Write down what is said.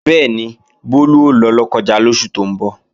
Bẹ́ẹ̀ni, Bólú ó lọ Lọ́kọ́ja lóṣù tó ń bọ̀